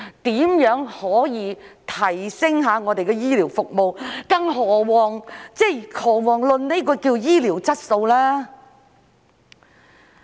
如何可以提升醫療服務，更遑論醫療質素呢？